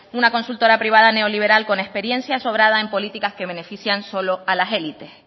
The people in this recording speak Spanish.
una consultora privada neoliberal con experiencia sobrada en políticas que benefician solo a las élites